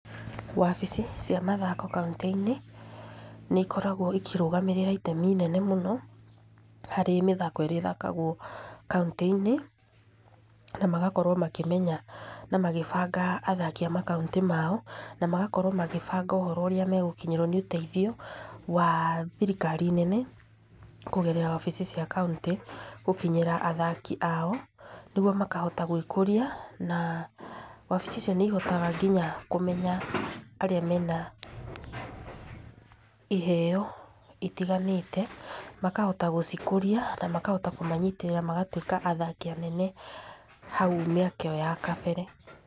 Wabici, cia mathako kaunti-inĩ, nĩikoragwo cikĩrũgamĩrĩra itemi nene mũno, harĩ mĩthako ĩrĩa ĩthakagwo kaunti-inĩ, na magakorwo makĩmenya na magabanga athaki a makaunti mao, na magakorwo magĩbanga ũhoro ũría magũkorwo magĩkinyĩrwo nĩ ũteithio wa thirikari nene kúgerera wabici cia kauntĩ, gũkinyĩra athaki ao, nĩguo makahota gwĩkũria, na wabici icio níihotaga nginya kũmenya arĩa mena, iheo itiganĩte, makahota gũcikũria, na makahota kũmanyitĩrĩra magatwĩka athaki anene hau mĩaka ĩyo ya kabere.